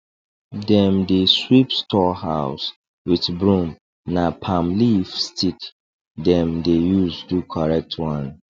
dem dey sweep store house with broom na palm leaf stick dem dey use do correct one